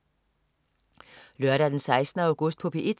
Lørdag den 16. august - P1: